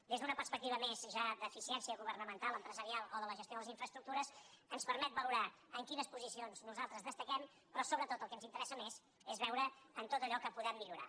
des d’una perspectiva més ja d’eficiència governamental empresarial o de la gestió de les infraestructures ens permet valorar en quines posicions nosaltres destaquem però sobretot el que ens interessa més és veure tot allò en què podem millorar